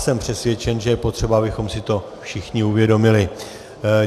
Jsem přesvědčen, že je potřeba, abychom si to všichni uvědomili.